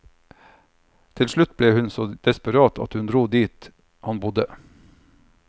Til slutt ble hun så desperat at hun dro dit han bodde.